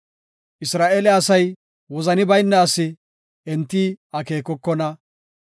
Isra7eele asay wozani bayna asi; enti akeekokona.